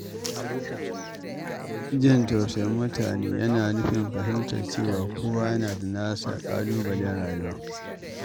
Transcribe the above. Jin tausayin mutane yana nufin fahimtar cewa kowa yana da nasa ƙalubalen rayuwa.